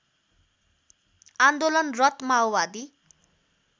आन्दोलनरत माओवादी